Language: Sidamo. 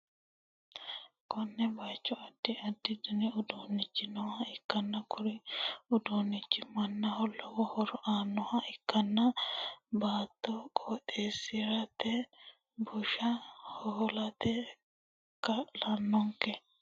konne bayicho addi addi dani uduunnichi nooha ikkanna, kuri uduunnino mannaho lowo horo aannoha ikkanna, baatto qottisi'rate bushsha ho'late kaa'lannonke.